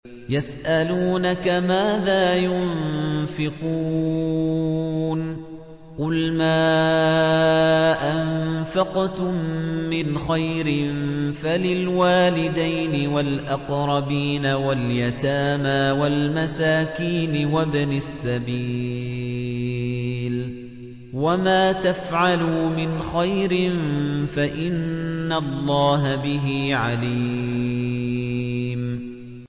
يَسْأَلُونَكَ مَاذَا يُنفِقُونَ ۖ قُلْ مَا أَنفَقْتُم مِّنْ خَيْرٍ فَلِلْوَالِدَيْنِ وَالْأَقْرَبِينَ وَالْيَتَامَىٰ وَالْمَسَاكِينِ وَابْنِ السَّبِيلِ ۗ وَمَا تَفْعَلُوا مِنْ خَيْرٍ فَإِنَّ اللَّهَ بِهِ عَلِيمٌ